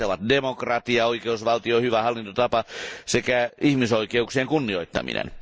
Näitä ovat demokratia, oikeusvaltio, hyvä hallintotapa sekä ihmisoikeuksien kunnioittaminen.